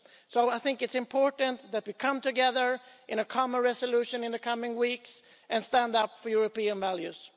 So I think it's important that we come together in a common resolution in the coming weeks and stand up for European values.